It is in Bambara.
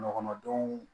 Kɔnɔdenw